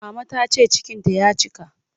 Mama ta ce cikinta ya cika.